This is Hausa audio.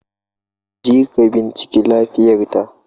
Ka je ka bincike lafiyar ka